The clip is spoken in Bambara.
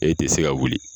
E tɛ se ka wuli